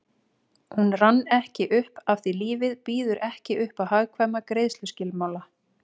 Hún rann ekki upp afþví lífið býður ekki uppá hagkvæma greiðsluskilmála